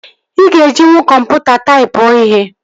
Ị ga-ejinwu kọmputa taipụọ ihe